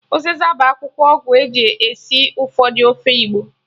Ụzịza bụ akwụkwọ ọgwụ eji esi ụfọdụ ofe igbo